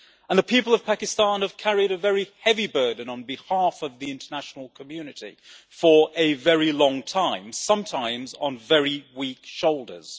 The people of Pakistan have carried a very heavy burden on behalf of the international community for a very long time sometimes on very weak shoulders.